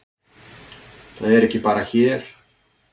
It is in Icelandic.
Það er ekki bara hér.